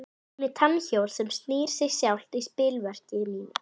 Hún er tannhjól sem knýr sig sjálft í spilverki mínu.